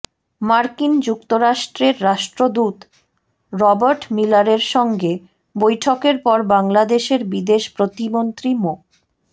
মার্কিন যুক্তরাষ্ট্রের রাষ্ট্রদূত রবার্ট মিলারের সঙ্গে বৈঠকের পর বাংলাদেশের বিদেশ প্রতিমন্ত্রী মো